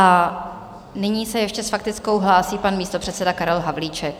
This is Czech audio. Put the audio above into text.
A nyní se ještě s faktickou hlásí pan místopředseda Karel Havlíček.